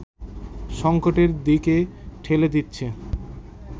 সংকটের দিকে ঠেলে দিচ্ছে